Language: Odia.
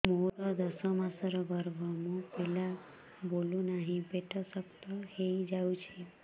ମୋର ଦଶ ମାସର ଗର୍ଭ ମୋ ପିଲା ବୁଲୁ ନାହିଁ ପେଟ ଶକ୍ତ ହେଇଯାଉଛି